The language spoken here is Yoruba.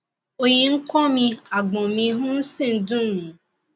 òòyì ń kọ́ mi àgbọ̀n mi um sì ń dùn mí